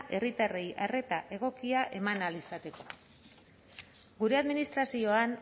herritarrei arreta egokia emana izateko gure administrazioan